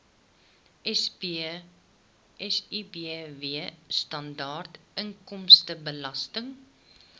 sibw standaard inkomstebelasting